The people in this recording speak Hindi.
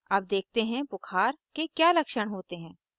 अब देखते हैं बुखार के क्या लक्षण होते हैं